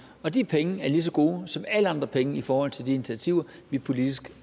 og de penge er lige så gode som alle andre penge i forhold til de initiativer vi politisk